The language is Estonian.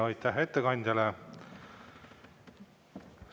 Aitäh ettekandjale!